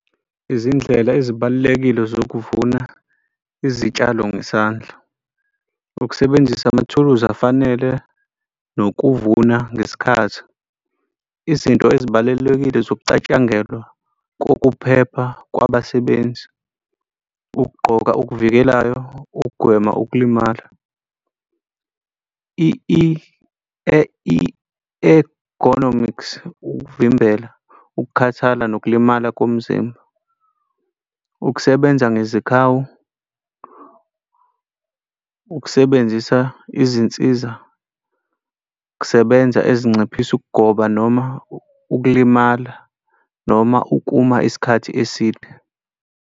Izindlela ezibalulekile zokuvuna izitshalo ngesandla, ukusebenzisa amathuluzi afanele nokuvuna ngesikhathi. Izinto ezibalulekile zokucatshangelwa kokuphepha kwabasebenzi. Ukugqoka okukuvikelayo ukugwema ukulimala i-ergonomics, ukuvimbela ukukhathala nokulimala komzimba. Ukusebenza ngezikhawu, ukusebenzisa izinsiza kusebenza ezinciphisa ukugoba noma ukulimala noma ukuma isikhathi eside.